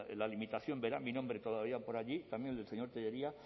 la limitación verá mi nombre todavía por allí también el del señor tellería